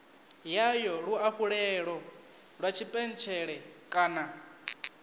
yayo luafhulelo lwa tshipentshele kana